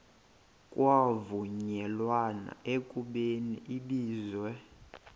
kwavunyelwana ekubeni ibizelwe